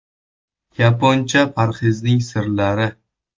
Yaponcha parhezning sirlari.